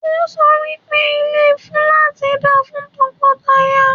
Ọ́ sọ wí pé ilé fúláàtì da fún tọkọtaya.